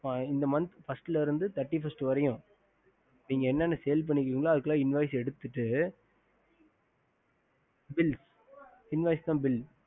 in first month to thirty one வரியும் நீக்க என்ன sael பண்ணி இருக்கீங்களா invoice எடுத்துட்டு புரியல invoice means bill